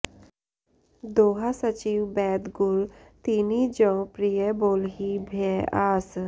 दोहा सचिव बैद गुर तीनि जौं प्रिय बोलहिं भय आस